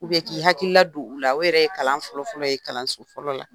k'i hakilila don u la o yɛrɛ ye kalan fɔlɔfɔlɔ ye kalanso fɔlɔ la,